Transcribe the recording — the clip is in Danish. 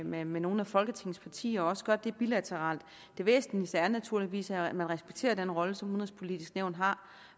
med med nogle af folketingets partier og også gør det bilateralt det væsentligste er naturligvis at man respekterer den rolle som udenrigspolitisk nævn har